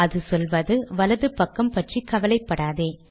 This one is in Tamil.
அது சொல்வது வலது பக்கம் பற்றி கவலைப்படாதே